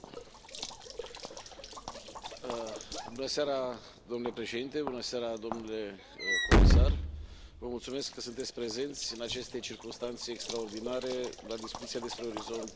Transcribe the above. Domnule președinte, domnule comisar, vă mulțumesc că sunteți prezenți în aceste circumstanțe extraordinare la discuția despre Orizont Europa, viitorul program cadru de cercetare și inovare.